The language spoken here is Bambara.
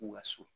U ka so